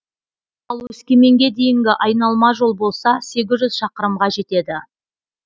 ал өскеменге дейінгі айналма жол болса сегіз жүз шақырымға жетеді